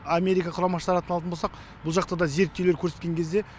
америка құрама штатын алатын болсақ бұл жақта да зерттеулер көрсеткен кезде